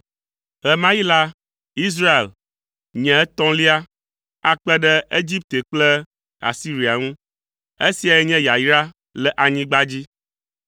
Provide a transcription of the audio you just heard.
Ɣe ma ɣi la, Israel, nye etɔ̃lia akpe ɖe Egipte kple Asiria ŋu, esiae nye yayra le anyigba dzi.